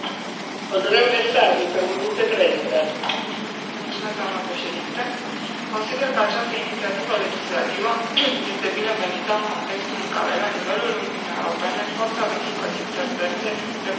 Consider că această inițiativă legislativă este binevenită în contextul în care la nivelul Uniunii Europene forța de muncă din țări terțe reprezintă un procent deloc neglijabil iar imigrația clandestină este un fenomen îngrijorător.